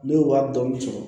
Ne ye wari dɔɔni sɔrɔ